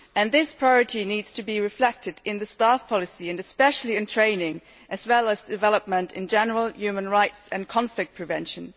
This priority needs to be reflected in the staff policy, and especially in training, as well as in development in general, human rights and conflict prevention.